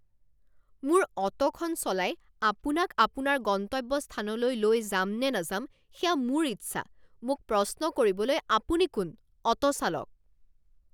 মোৰ অ'টোখন চলাই আপোনাক আপোনাৰ গন্তব্যস্থানলৈ লৈ যামনে নাযাম সেয়া মোৰ ইচ্ছা। মোক প্ৰশ্ন কৰিবলৈ আপুনি কোন? অ'টো চালক